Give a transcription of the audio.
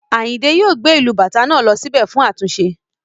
Ayinde yóò gbé ìlù Bàtá náà lọ sí bẹ̀ fún àtúnṣe